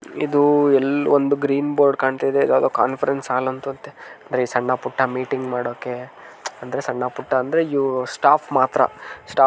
ಇದು ಎಲ್ ಒಂದು ಗ್ರೀನ್ ಬೋರ್ಡ್ ಕಾಣ್ತಾಯಿದೆ ಇದು ಯಾವದೊ ಕಾನ್ಫರೆನ್ಸ್ ಹಾಲ್ ಅಂತತೆ ಅಂದ್ರೆ ಸಣ್ಣ ಪುಟ್ಟ ಮೀಟಿಂಗ್ ಮಾಡೋಕೆ ಅಂದ್ರೆ ಸಣ್ಣ ಪುಟ್ಟ ಅಂದ್ರೆ ಇವ್ರು ಸ್ಟಾಪ್ ಮಾತ್ರ ಸ್ಟಾಪ್‌ --